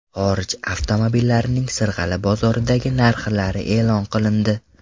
Xorij avtomobillarining Sirg‘ali bozoridagi narxlari e’lon qilindi.